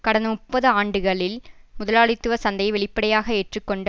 கடந்த முப்பது ஆண்டுகளில் முதலாளித்துவ சந்தையை வெளிப்படையாக ஏற்று கொண்ட